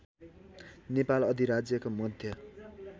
नेपाल अधिराज्यको मध्य